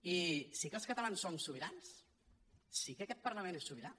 i sí que els catalans som sobirans sí que aquest parlament és sobirà